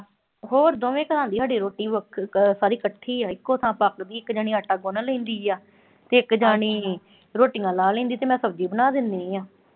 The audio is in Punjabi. ਹੋਰ ਦੋਵੇਂ ਘਰਾਂ ਦੀ ਸਾਡੀ ਰੋਟੀ ਅਹ ਸਾਰੀ ਇਕੱਠੀ ਆ, ਇਕੋ ਥਾਂ ਪੱਕਦੀ, ਇੱਕ ਜਣੀ ਆਟਾ ਗੁੰਨ ਲੈਂਦੀ ਆ ਤੇ ਇੱਕ ਜਣੀ ਰੋਟੀਆਂ ਲਾਹ ਲੈਂਦੀ ਤੇ ਮੈਂ ਸਬਜ਼ੀ ਬਣਾ ਦਿੰਨੀ ਆਂ।